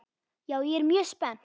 Já, ég er mjög spennt.